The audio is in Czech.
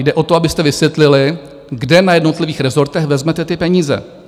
Jde o to, abyste vysvětlili, kde na jednotlivých resortech vezmete ty peníze.